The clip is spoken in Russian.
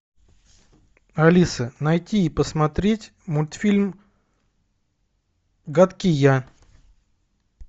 алиса найти и посмотреть мультфильм гадкий я